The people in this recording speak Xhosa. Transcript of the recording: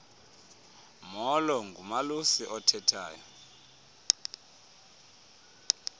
molo ngumalusi othethayo